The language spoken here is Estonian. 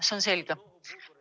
See on selge.